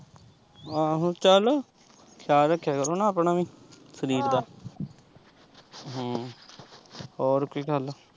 ਆਹੋ ਚਲ ਖਿਆਲ ਰੱਖਿਆ ਕਰੋ ਆਪਣਾ ਵੀ ਸਰੀਰ ਦਾ ਹਮ ਹੋਰ ਕੋਈ ਗੱਲ।